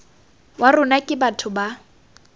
wa rona ke batho ba